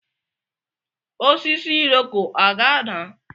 Osisi Iroko a ga-ada?